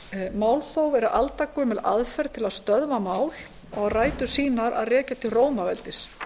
málþóf er aldagömul aðferð til að stöðva mál og á rætur sínar að rekja til rómaveldis